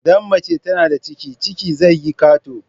Idan mace tana da ciki ciki zai yi kato